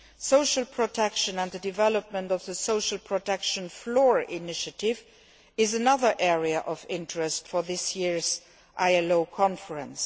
Social protection, including the development of the Social Protection Floor initiative, is another area of interest for this year's ILO conference.